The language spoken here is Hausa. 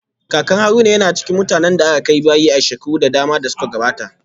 Kakan Haruna yana cikin mutanen da aka kai bayi a shekaru da dama da suka gabata